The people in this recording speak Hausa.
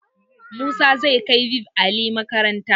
Musa zai kai five alive makaranta